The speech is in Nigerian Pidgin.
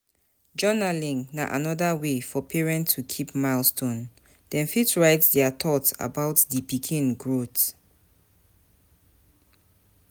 Journalling na anoda wey for parents to keep milestone, dem fit write their though about di pikin growth